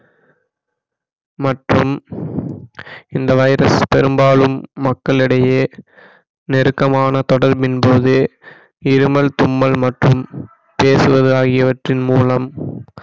மற்றும் இந்த வைரஸ் பெரும்பாலும் மக்களிடையே நெருக்கமான தொடர்பின் போது இருமல் தும்மல் மற்றும் பேசுவது ஆகியவற்றின் மூலம்